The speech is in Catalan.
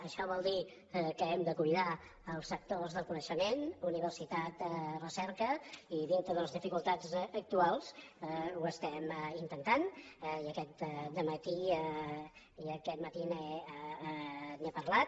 això vol dir que hem de cuidar els sectors del coneixement universitat recerca i dintre de les dificultats actuals ho estem intentant i aquest matí n’he parlat